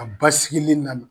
ba sigili nana